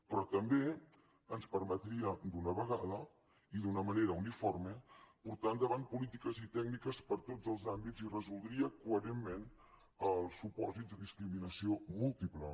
però també ens permetria d’una vegada i d’una manera uniforme portar endavant polítiques i tècniques per a tots els àmbits i resoldria coherentment els supòsits de discriminació múltiple